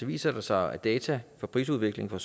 viser det sig at data for prisudviklingen